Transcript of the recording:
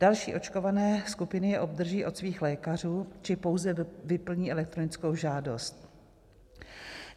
Další očkované skupiny je obdrží od svých lékařů či pouze vyplní elektronickou žádost.